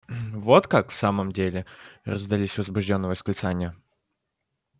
вот как в самом деле раздались возбуждённые восклицания